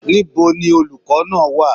Níbo ni olùkọ́ náà wà?